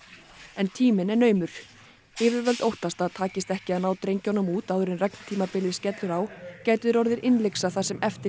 en tíminn er naumur yfirvöld óttast að takist ekki að ná drengjunum út áður en skellur á gætu þeir orðið innlyksa það sem eftir